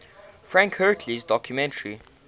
frank hurley's documentary